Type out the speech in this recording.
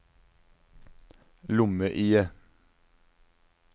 lomme-IE